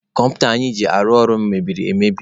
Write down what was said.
Kọmputa anyị ji arụ ọrụ mebiri emebi.